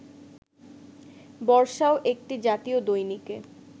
বর্ষাও একটি জাতীয় দৈনিকে